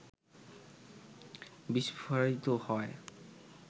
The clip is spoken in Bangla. বিস্ফোরিত হয়